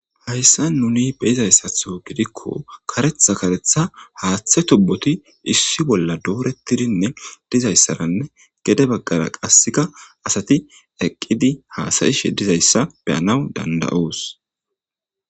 hayssa nuni beizayssatho gidikko karetha karetha haaththe tubboti issi bolla doorettidinne dizayssaranne gede baggara qasseka asati eqqidi haasayishe dizayssa beyanaw dandayoos